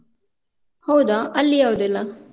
ಹೌದಾ ಅಲ್ಲಿ ಯಾವ್ದೆಲ್ಲ?